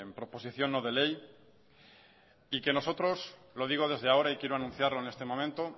proposición no de ley y que nosotros lo digo desde ahora y quiero anunciarlo en este momento